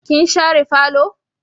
Kin share falo?